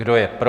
Kdo je pro?